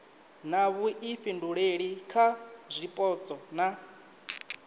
na vhuifhinduleli kha zwipotso na